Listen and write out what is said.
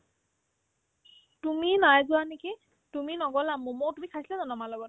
তুমি নাই যোৱা নেকি তুমি নগ'লা ম'ম তুমি খাইছিলা জানো আমাৰ লগত